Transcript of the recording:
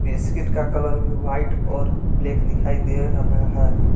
Biscuit का colour भी white और ब्लैक दिखाई दे रहा है।